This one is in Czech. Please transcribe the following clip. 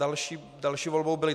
Další volbou byl